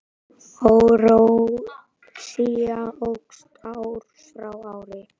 Óráðsía óx ár frá ári.